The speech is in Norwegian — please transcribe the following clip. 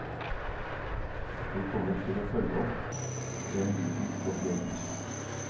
Vi kommer til å følge opp den biten spesielt.